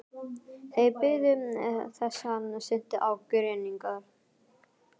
Þeir biðu þess hann synti á grynningar.